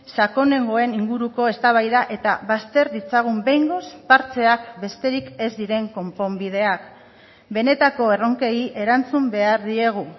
sakonengoen inguruko eztabaida eta bazter ditzagun behingoz partxeak besterik ez diren konponbideak benetako erronkei erantzun behar diegu